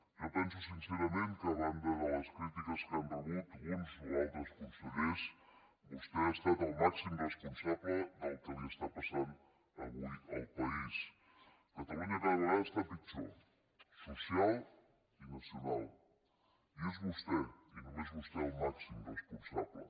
jo penso sincerament que a banda de les crítiques que han rebut uns o altres consellers vostè ha estat el màxim responsable del que està passant avui en el país catalunya cada vegada està pitjor socialment i nacionalment i n’és vostè i només vostè el màxim responsable